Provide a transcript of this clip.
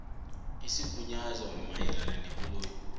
yesigunyazo mayelana nekoloyi